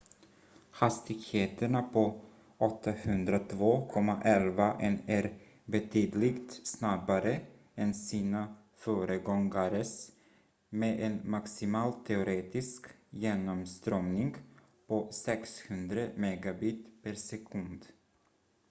hastigheterna på 802.11n är betydligt snabbare än sina föregångares med en maximal teoretisk genomströmning på 600 mbit/s